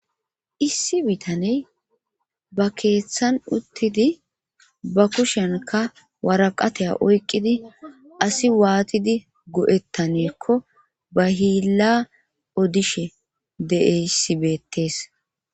issi bitaney ba keeththan uttidi ba kushenka waraqateya oykqidi asi waatidi go7ettaneekko ba hiilla odishe deeyssi beettees